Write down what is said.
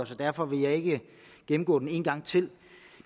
så derfor vil jeg ikke gennemgå den en gang til